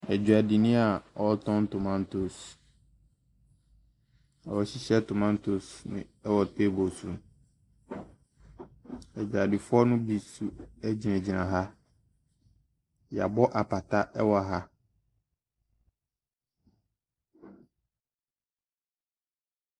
Odwuadini a ɔretɔn tomantoes. Wahyehyɛ tomatoes wɔ table so. Adwadifoɔ no bi nso gyinagyina ha. Yɛabɔ apata wɔ ha.